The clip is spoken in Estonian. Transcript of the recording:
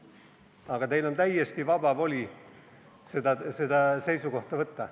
Aga teil on täiesti vaba voli see seisukoht võtta.